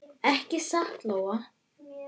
Ekki satt, Lóa?